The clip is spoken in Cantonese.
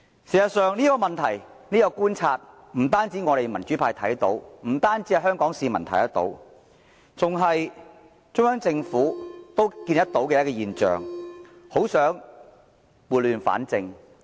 事實上，不單民主派和香港市民觀察到這些問題，就是中央政府也看到這些現象，很想撥亂反正。